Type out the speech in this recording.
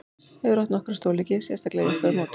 Hefur átt nokkra stórleiki, sérstaklega í upphafi móts.